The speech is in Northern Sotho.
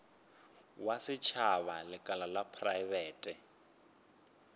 wa setšhaba lekala la praebete